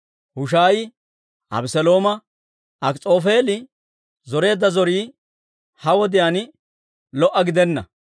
Hushaayi Abeselooma, «Akis'oofeeli zoreedda zorii ha wodiyaan lo"a gidenna.